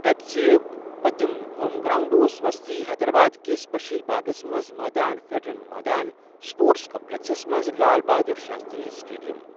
H C A ہُک پٔتِم home ground اوس وسطی حیدرآباد کِس بشیر باغس منٛز مٲدان فیڑن مٲدان اسپورٹس کمپلیکسس منٛز لال بہادر شاستری اسٹیڈیم۔